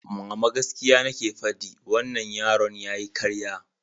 Mama, gaskiya nake faɗi, wannan yaron yayi ƙarya.